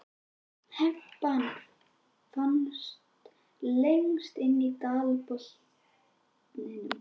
Hempan hans fannst lengst inni í dalbotninum.